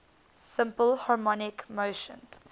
simple harmonic motion